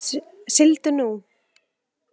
Sigldu nú.